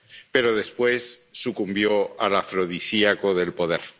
pero después sucumbió al afrodisíaco del poder.